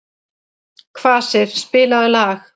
Kvasir, spilaðu lag.